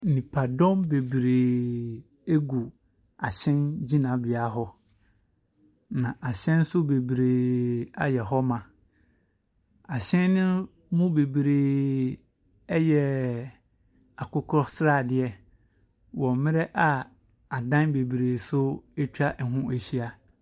Nipadɔm bebree egu ahyɛn gyinabea hɔ. Na ahyɛn nso bebree ayɛ hɔ ma. Ahyɛn no mu bebree ɛyɛ akokɔ sradeɛ wo mmrɛ a adan bebree nso ɛtwa ɛho ɛhyia.